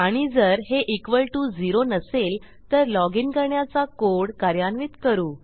आणि जर हे इक्वॉल टीओ झेरो नसेल तर लॉजिन करण्याचा कोड कार्यान्वित करू